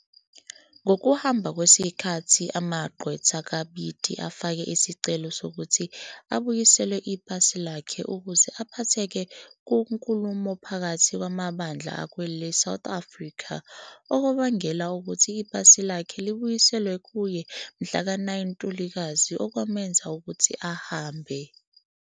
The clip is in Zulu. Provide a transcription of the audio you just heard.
Ngokuhamba kwesikhathi amagqwetha kaBiti afake isicelo sokuthi abuyiselwe ipasi lakhe ukuze aphatheke kunkulumo phakathi kwamabandla akweleSouth Africa, okwabangela ukuthi ipasi lakhe libuyiselwe kuye mhlaka 9 Ntulikazi, okwamenza ukuthi ahambe.